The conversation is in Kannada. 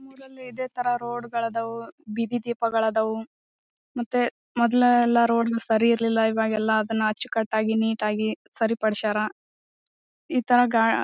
ಸ್ಕೂಲ್ ಅಲ್ಲಿ ಇದೆ ತರ ರೋಡ್ ಗಳಾದವು ಬೀದಿ ದೀಪಗಳಾದವು ಎಲ್ಲ ರೋಡ್ ದೀಪಗಳು ಸರಿ ಇರ್ಲಿಲ್ಲ. ಇವಾಗ ಎಲ್ಲ ಅಚ್ಚು ಕಟ್ಟಾಗಿ ನೀಟ್ ಆಗಿ ಸರಿಪಡಿಸ್ಯಾರ. ಈ ತರ ಗಾ--